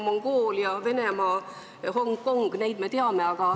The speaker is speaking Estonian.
Mongoolia, Venemaa ja Hongkong – neid me teame.